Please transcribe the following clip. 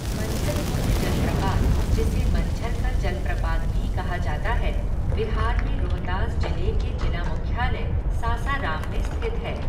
मंझर कुंड जलप्रपात. जिसे मंझर का जलप्रपात भी कहा जाता है, बिहार में रोहतास जिले के जिला मुख्यालय, सासाराम में स्थित है।